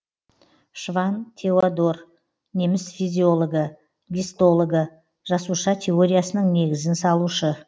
шванн теодор неміс физиологы гистологы жасуша теориясының негізін салушы